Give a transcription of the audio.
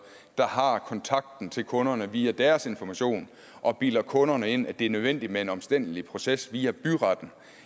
der har kontakten til kunderne via deres information og bilder kunderne ind at det er nødvendigt med en omstændelig proces via byretten